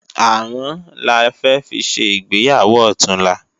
Àrán la fẹ́ fi ṣe ìgbéyàwó ọ̀túnla